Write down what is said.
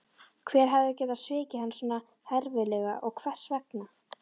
Hver hafði getað svikið hann svona herfilega og hvers vegna?